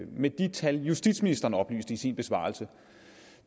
med de tal justitsministeren oplyste i sin besvarelse